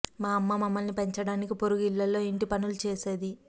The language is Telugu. మా అమ్మ మమ్మల్ని పెంచడానికి పొరుగు ఇళ్ళల్లో ఇంటి పనులు చేసేది